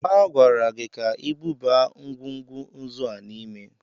A gwara gị ka i buba ngwugwu nzu a n'ime!